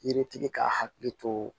Yiritigi ka hakili to